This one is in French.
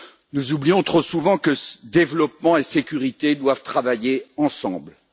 Nous oublions trop souvent que développement et sécurité doivent aller de pair.